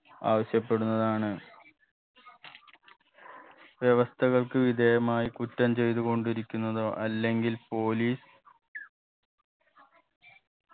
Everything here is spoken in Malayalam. ആവശ്യപ്പെടുന്നതാണ് വ്യവസ്ഥകൾക്ക് വിധേയമായി കുറ്റം ചെയ്തുകൊണ്ടിരിക്കുന്നതോ അല്ലെങ്കിൽ police